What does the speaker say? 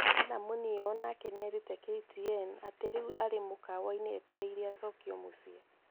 Hannah Muniu o nake nĩ erite KTN atĩ rĩu arĩ mũkawa-inĩ etereire acokio mũciĩ.